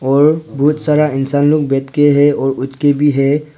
और बहुत सारा इंसान लोग बैठके है और उठके भी है।